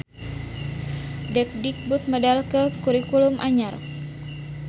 Depdikbud medalkeun kurikulum anyar